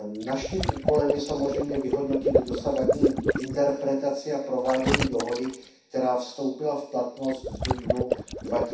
Naším úkolem je samozřejmě vyhodnotit dosavadní interpretaci a provádění dohody, která vstoupila v platnost v dubnu roku